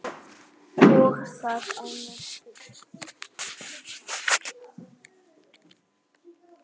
Og það á norsku.